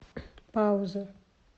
пауза